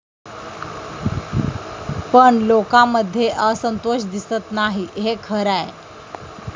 पण लोकांमध्ये असंतोष दिसत नाही हे खरंय.